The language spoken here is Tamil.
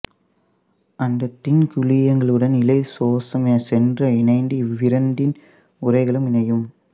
அந்த தின்குழியங்களுடன் இலைசோசோம் சென்று இணைந்து இவ்விரண்டின் உறைகளும் இணையும்